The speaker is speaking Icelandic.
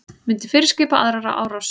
Myndi fyrirskipa aðra árás